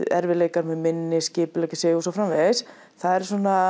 erfiðleikar með minni að skipuleggja sig og svo framvegis það eru